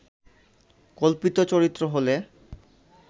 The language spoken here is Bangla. কল্পিত চরিত্র হলে